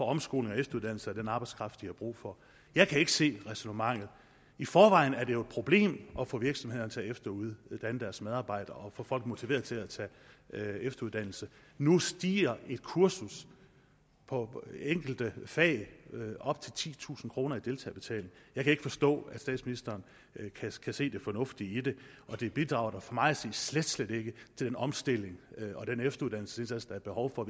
omskoling og efteruddannelse af den arbejdskraft de har brug for jeg kan ikke se ræsonnementet i forvejen er det jo et problem at få virksomhederne til at efteruddanne deres medarbejdere og få folk motiveret til at tage efteruddannelse nu stiger et kursus på enkelte fag op til titusind kroner i deltagerbetaling jeg kan ikke forstå at statsministeren kan se det fornuftige i det og det bidrager da for mig at se slet slet ikke til den omstilling og den efteruddannelsesindsats der er behov for